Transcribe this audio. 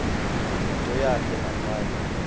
yintetho yakhe ngaphandle